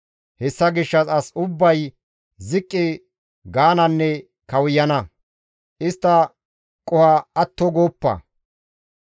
Hessa gishshas asi ubbay ziqqi gaananne kawuyana. Istta qoho atto gooppa.